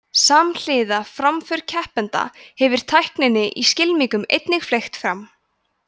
samhliða framför keppenda hefur tækninni í skylmingum einnig fleygt fram